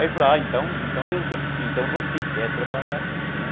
Aí ele falou, ah, então então você quer trabalhar mesmo, né?